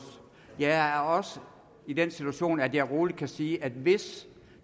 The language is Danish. jeg er også i den situation at jeg roligt kan sige at hvis